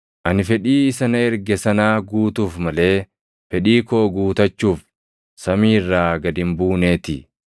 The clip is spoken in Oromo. Ani fedhii isa na erge sanaa guutuuf malee, fedhii koo guutachuuf samii irraa gad hin buuneetii.